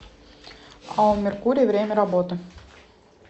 ао меркурий время работы